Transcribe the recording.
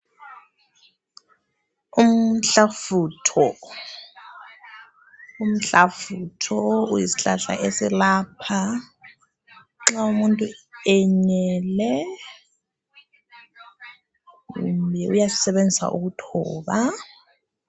umhlafutho umhlafutho uyisihlahla eselapha nxa umuntu enyele kumbe uyasisebenzisa ukuthoba